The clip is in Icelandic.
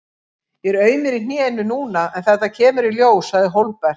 Ég er aumur í hnénu núna en þetta kemur í ljós, sagði Hólmbert.